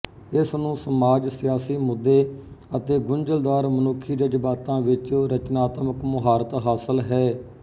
ਇਸ ਨੂੰ ਸਮਾਜ ਸਿਆਸੀ ਮੁੱਦੇ ਅਤੇ ਗੁੰਝਲਦਾਰ ਮਨੁੱਖੀ ਜਜ਼ਬਾਤਾਂ ਵਿੱਚ ਰਚਨਾਤਮਕ ਮੁਹਾਰਤ ਹਾਸਲ ਹੈ